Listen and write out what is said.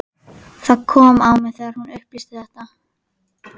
Það kom á mig þegar hún upplýsti þetta.